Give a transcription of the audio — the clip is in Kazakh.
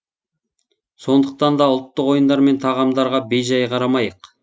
сондықтан да ұлттық ойындар мен тағамдарға бей жай қарамайық